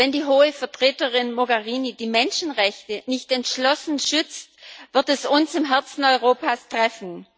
Wenn die Hohe Vertreterin Mogherini die Menschenrechte nicht entschlossen schützt, wird es uns im Herzen Europas treffen.